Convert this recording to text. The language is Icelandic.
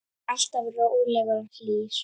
Alltaf rólegur og hlýr.